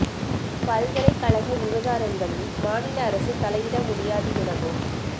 பல்கலை கழக விவகாரங்களில் மாநில அரசு தலையிட முடியாது எனவும்